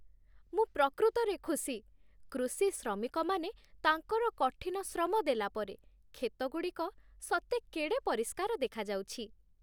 ମୁଁ ପ୍ରକୃତରେ ଖୁସି, କୃଷି ଶ୍ରମିକମାନେ ତାଙ୍କର କଠିନ ଶ୍ରମ ଦେଲାପରେ, କ୍ଷେତଗୁଡ଼ିକ ସତେ କେଡ଼େ ପରିଷ୍କାର ଦେଖାଯାଉଛି!